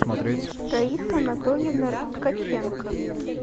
раиса анатольевна ткаченко